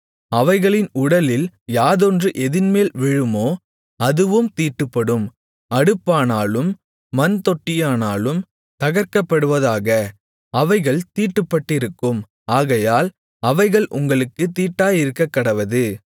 அவைகளின் உடலில் யாதொன்று எதின்மேல் விழுமோ அதுவும் தீட்டுப்படும் அடுப்பானாலும் மண்தொட்டியானாலும் தகர்க்கப்படுவதாக அவைகள் தீட்டுப்பட்டிருக்கும் ஆகையால் அவைகள் உங்களுக்குத் தீட்டாயிருக்கக்கடவது